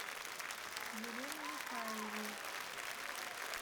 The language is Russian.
елену михайловну